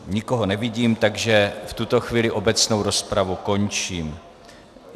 Nikoho nevidím, takže v tuto chvíli obecnou rozpravu končím.